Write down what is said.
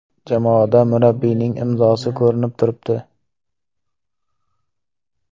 Jamoada murabbiyning imzosi ko‘rinib turibdi.